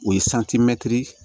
O ye